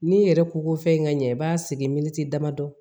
N'i yɛrɛ ko ko fɛn in ka ɲɛ i b'a segin militi damadɔ